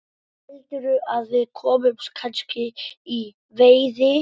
Heldurðu að við komumst kannski í veiði?